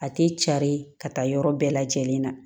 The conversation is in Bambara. A tɛ cari ka taa yɔrɔ bɛɛ lajɛlen na